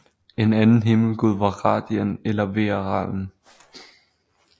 En anden himmelgud var Radien eller Vearalden